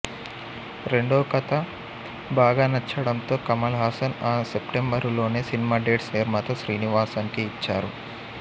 రెండో కథ బాగా నచ్చడంతో కమల్ హాసన్ ఆ సెప్టెంబరులోనే సినిమా డేట్స్ నిర్మాత శ్రీనివాసన్ కి ఇచ్చారు